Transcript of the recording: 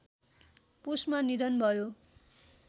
पुसमा निधन भयो